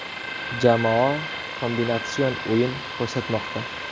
Jamoa kombinatsion o‘yin ko‘rsatmoqda.